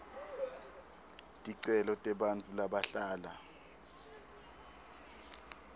ticelo tebantfu labahlala